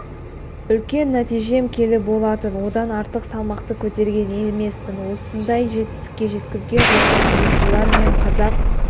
үлкен нәтижем келі болатын одан артық салмақты көтерген емеспін осындай жетістікке жеткізген жаттықтырушылар мен қазақ